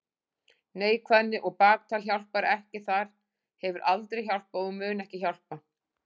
Neikvæðni og baktal hjálpar ekki þar, hefur aldrei hjálpað og mun ekki hjálpa.